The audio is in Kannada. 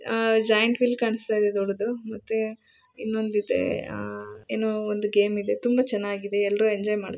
ಅಹ್ ಜಾಯಿಂಟ್ ವಿಲ್ ಕಾಣುಸ್ತಿದೆ ದೊಡ್ಡದು ಮತ್ತೆ ಇನ್ನೊಂದಿದೆ ಅಹ್ ಏನೋ ಒಂದು ಗೇಮ್ ಇದೆ ತುಂಬಾ ಚೆನ್ನಾಗಿದೆ ಎಲ್ಲರೂ ಎಂಜಾಯ್ ಮಾಡ್ತಿದ್ದಾರೆ.